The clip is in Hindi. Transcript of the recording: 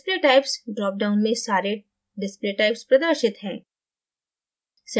display typesड्राप down में सारे display typesप्रदर्शित हैं